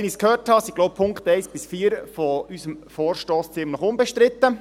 Wie ich gehört habe, sind die Punkte 1–4 unseres Vorstosses ziemlich unbestritten.